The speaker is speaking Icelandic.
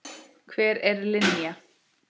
Hver er Linja?